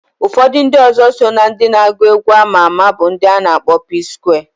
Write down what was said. Ufodu ndi ọzọ so na ndi na agu egwu ama ama bu ndi ana akpo Psquare.